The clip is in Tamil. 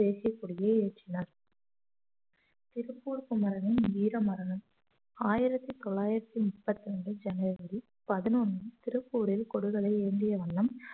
தேசியக் கொடியை ஏற்றினார் திருப்பூர் குமரனின் வீர மரணம் ஆயிரத்தி தொள்ளாயிரத்தி முப்பத்தி ரெண்டு ஜனவரி பதினொன்னு திருப்பூரில் கொடிகளை ஏந்திய வண்ணம்